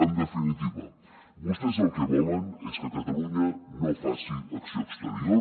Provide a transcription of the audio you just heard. en definitiva vostès el que volen és que catalunya no faci acció exterior